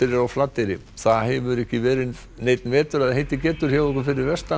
er á Flateyri það hefur ekki verið neinn vetur vetur hjá ykkur fyrir vestan